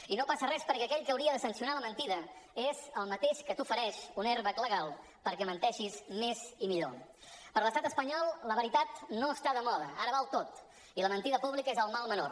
i no passa res perquè aquell que hauria de sancionar la mentida és el mateix que t’ofereix un airbagper l’estat espanyol la veritat no està de moda ara val tot i la mentida pública és el mal menor